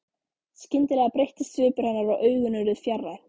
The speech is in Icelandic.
Skyndilega breyttist svipur hennar og augun urðu fjarræn.